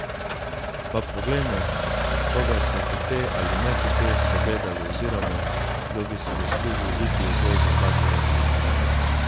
Pa poglejmo, koga so hote ali nehote spregledali oziroma, kdo bi si zaslužil iti v boj za zlatega kipca.